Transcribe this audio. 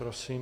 Prosím.